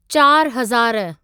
चार हज़ारु